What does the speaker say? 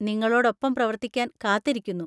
നിങ്ങളോടൊപ്പം പ്രവർത്തിക്കാൻ കാത്തിരിക്കുന്നു.